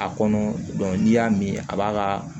A kɔnɔ n'i y'a min a b'a ka